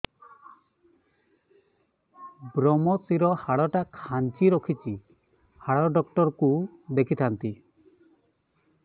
ଵ୍ରମଶିର ହାଡ଼ ଟା ଖାନ୍ଚି ରଖିଛି ହାଡ଼ ଡାକ୍ତର କୁ ଦେଖିଥାନ୍ତି